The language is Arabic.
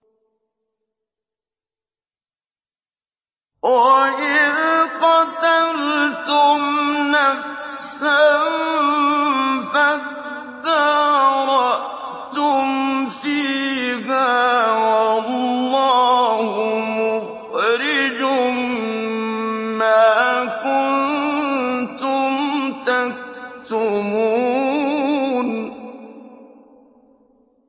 وَإِذْ قَتَلْتُمْ نَفْسًا فَادَّارَأْتُمْ فِيهَا ۖ وَاللَّهُ مُخْرِجٌ مَّا كُنتُمْ تَكْتُمُونَ